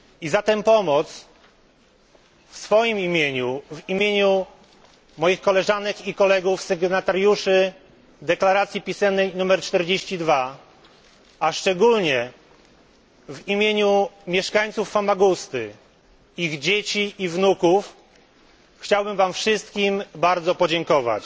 Za tę pomoc w imieniu swoim, moich koleżanek i kolegów sygnatariuszy oświadczenia pisemnego nr 0042, a szczególnie w imieniu mieszkańców Famagusty, ich dzieci i wnuków, chciałbym Wam wszystkim bardzo podziękować.